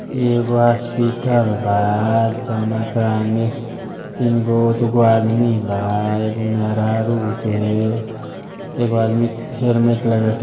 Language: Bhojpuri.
ये एको हॉस्पिटल बा जउना के आगे तीन गो दुगो आदमी बा एको मेहरारू वे एको आदमी हेलमेट लगा के --